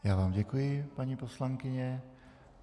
Já vám děkuji, paní poslankyně.